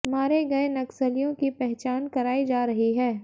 मारे गए नक्सलियों की पहचान कराई जा रही है